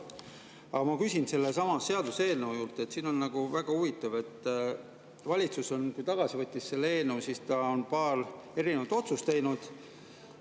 Aga ma küsin sellesama seaduseelnõu kohta, siin on väga huvitav, et kui valitsus selle eelnõu tagasi võttis, siis ta on paar erinevat otsust teinud.